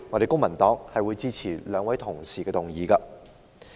公民黨當然會支持兩位同事的議案。